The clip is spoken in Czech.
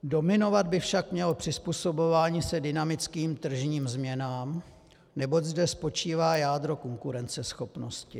"Dominovat by však mělo přizpůsobování se dynamickým tržním změnám, neboť zde spočívá jádro konkurenceschopnosti.